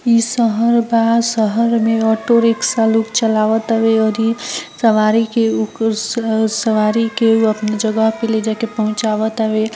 इ शहर बा शहर मे ओटो रिक्शा लोग चलावत बा तवे आरी सवारी के ऊ अपनी जगह पे ले जाय के पहुचाबे तारे ।